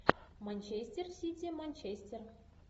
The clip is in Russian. манчестер сити манчестер